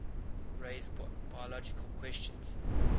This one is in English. raise biological questions